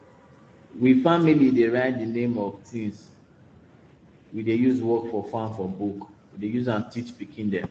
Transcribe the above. we family dey write di name of di tins we dey use work for farm for book we dey use teach pikin dem